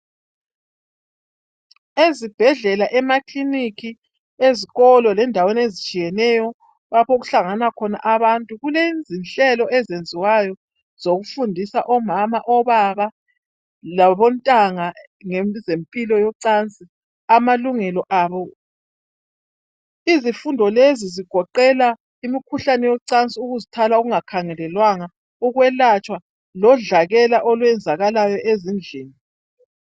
Ezibhedlela emakiliniki ezikolo lendaweni ezitshiyeneyo lapho okuhlangana khona abantu kulezinhlelo ezenziwayo zokufundisa omama, obaba labo ntanga ngeze mpilo yocansi amalungelo abo. Izifundo lezi zigoqela umkhuhlane wocansi ukuzithwala okunga khangelelwanga ukwelatshwa lodlakela olwenzakalayo ezindlini.